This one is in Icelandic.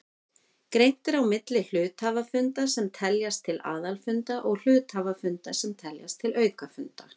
Greint er á milli hluthafafunda sem teljast til aðalfunda og hluthafafunda sem teljast til aukafunda.